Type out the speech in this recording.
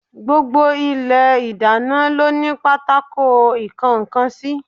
Gbogbo Ilé ìdáná lóní pátákó ìkónkan sí